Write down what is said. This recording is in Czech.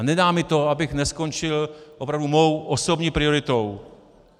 A nedá mi to, abych neskončil opravdu svou osobní prioritou.